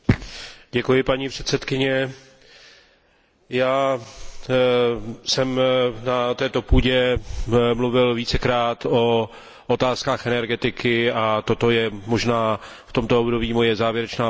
Paní předsedkyně, já jsem na této půdě mluvil vícekrát o otázkách energetiky a toto je možná v tomto období moje závěrečná poznámka.